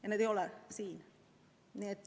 Ja need ei ole siin.